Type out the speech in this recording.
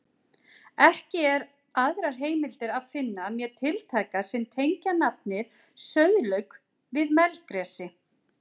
Ekki er aðrar heimildir að finna mér tiltækar sem tengja nafnið sauðlauk við melgresi.